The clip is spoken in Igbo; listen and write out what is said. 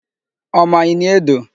Ọ ma Ini Edo?